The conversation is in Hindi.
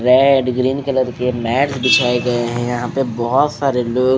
रेड ग्रीन कलर के मैट बिछाए गए हैं यहां पे बहोत सारे लोग--